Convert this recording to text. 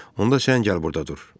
Onda sən gəl burda dur.